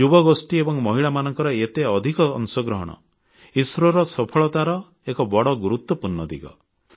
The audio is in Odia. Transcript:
ଯୁବଗୋଷ୍ଠୀ ଏବଂ ମହିଳାମାନଙ୍କ ଏତେ ଅଧିକ ଅଂଶଗ୍ରହଣ ଇସ୍ରୋ ସଫଳତାର ଏକ ବଡ଼ ଗୁରୁତ୍ୱପୂର୍ଣ୍ଣ ଦିଗ